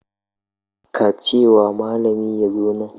Ka ce wa malami ya zo nan.